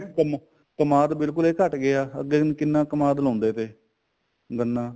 ਕਮਾਦ ਬਿਲਕੁਲ ਹੀ ਘਟ ਗਿਆ ਅੱਗੇ ਹੁਣ ਕਿੰਨਾ ਕਮਾਦ ਲਾਉਂਦੇ ਤੇ ਗੰਨਾ